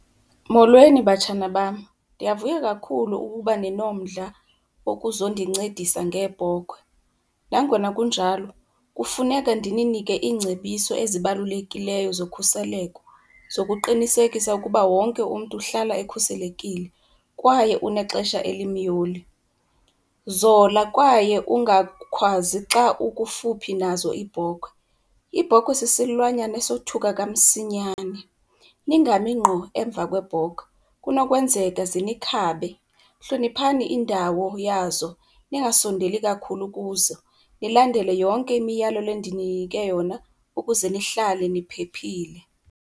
Molweni, batshana bam. Ndiyavuya kakhulu ukuba ninomdla wokuzondincedisa ngeebhokhwe. Nangona kunjalo kufuneka ndininike iingcebiso ezibalulekileyo zokhuseleko, zokuqinisekisa ukuba wonke umntu uhlala ekhuselekile kwaye unexesha elimyoli. Zola kwaye ungakhwazi xa ukufuphi nazo iibhokhwe, ibhokhwe sisilwanyana esothuka kamsinyane. Ningami ngqo emva kweebhokhwe kunokwenzeka zinikhabe. Hloniphani indawo yazo ningasondeli kakhulu kuzo, nilandele yonke imiyalelo endininike yona ukuze nihlale niphephile.